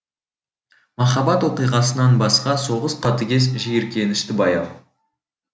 махаббат оқиғасынан басқа соғыс қатыгез жиіркенішті баяу